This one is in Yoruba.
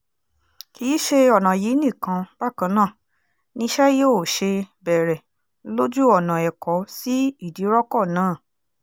kì í ṣe ọ̀nà yìí nìkan bákan náà niṣẹ́ yóò ṣe bẹ̀rẹ̀ lójú ọ̀nà ẹ̀kọ́ sí ìdíròkọ náà